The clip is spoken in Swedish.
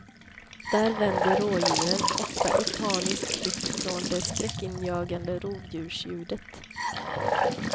Där vänder rådjuren, ofta i panisk flykt från det skräckinjagande rovdjursljudet.